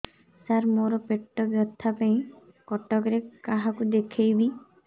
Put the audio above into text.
ସାର ମୋ ର ପେଟ ବ୍ୟଥା ପାଇଁ କଟକରେ କାହାକୁ ଦେଖେଇବି